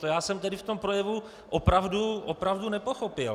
To já jsem tedy v tom projevu opravdu nepochopil!